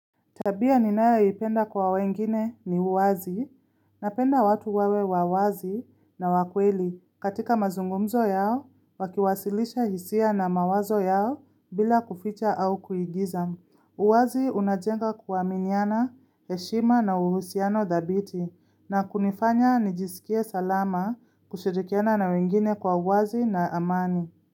Tabia ninayoipenda kwa wengine ni uwazi napenda watu wawe wa wazi na wa kweli katika mazungumzo yao wakiwasilisha hisia na mawazo yao bila kuficha au kuigiza. Uwazi unajenga kuaminiana, heshima na uhusiano dhabiti na kunifanya nijisikie salama kushirikiana na wengine kwa uwazi na amani.